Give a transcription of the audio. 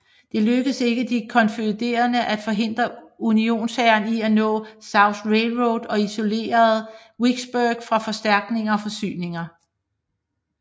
Det lykkedes ikke de konfødererede at forhindre unionshæren i at nå Southern Railroad og isolere Vicksburg fra forstærkninger og forsyninger